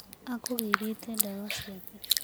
Akũgĩrĩte ndawa ciake.